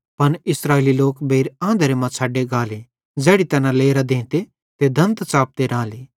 पन इस्राएली लोक बेइर आंधरे मां छ़ड्डे गाले ज़ैड़ी तैना लेरां देते ते दंत च़ापते राले